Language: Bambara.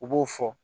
U b'o fɔ